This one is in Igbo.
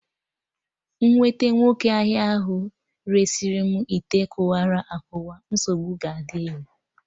M nwete nwoke ahịa ahụ resị mụ ite kụwalu akụwa, nsogbu ga adị o